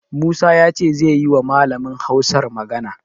Musa ya ce zai yiwa Malamin Hausar magana.